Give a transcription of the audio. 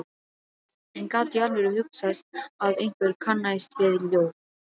En gat í alvöru hugsast að einhver kannaðist við ljóð